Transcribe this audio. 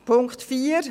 Punkt 4